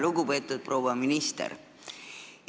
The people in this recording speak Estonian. Lugupeetud proua minister!